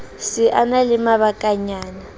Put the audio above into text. se a na le mabakanyana